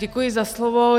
Děkuji za slovo.